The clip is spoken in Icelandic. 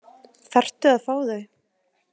Þarftu að fá þau?